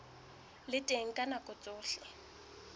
le teng ka nako tsohle